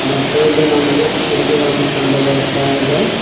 ಮತ್ತು ಇಲ್ಲಿ ನಮಗೆ ಕುರ್ಜಿಗಳನ್ನು ಕಂಡು ಬರುತ್ತಾ ಇದೆ.